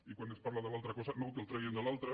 i quan es parla de l’altra cosa no que el treguin de l’altra